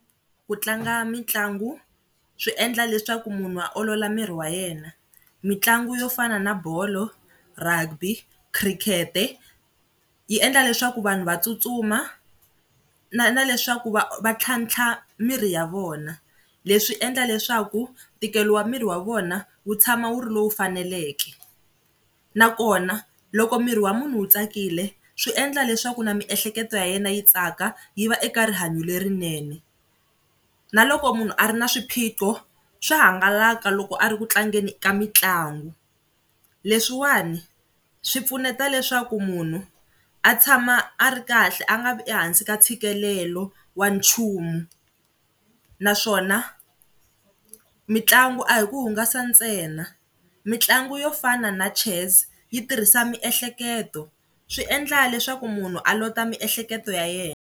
Ku tlanga mitlangu swi endla leswaku munhu a olola miri wa yena, mitlangu yo fana na bolo, rugby, khirikete yi endla leswaku vanhu va tsutsuma na na leswaku va va ntlhantlha miri ya vona, leswi endla leswaku ntikelo wa miri wa vona wu tshama wu ri lowu faneleke nakona loko miri wa munhu wu tsakile swi endla leswaku na miehleketo ya yena yi tsaka yi va eka rihanyo lerinene. Na loko munhu a ri na swiphiqo swa hangalaka loko a ri ku tlangeni ka mitlangu, leswiwani swi pfuneta leswaku munhu a tshama a ri kahle a nga vi ehansi ka ntshikelelo wa nchumu naswona mitlangu a hi ku hungasa ntsena, mitlangu yo fana na chess yi tirhisa miehleketo swi endla leswaku munhu a lota miehleketo ya yena.